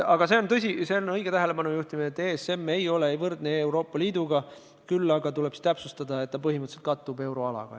Aga see on tõsi, õige tähelepanujuhtimine, et ESM ei ole võrdne Euroopa Liiduga, küll aga tuleb siis täpsustada, et ta põhimõtteliselt kattub euroalaga.